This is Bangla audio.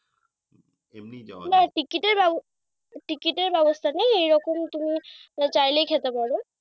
না টিকিটের ব্যাব টিকিটের ব্যাবস্থা নেয় এইরকম তুমি চাইলেই খেতে পার।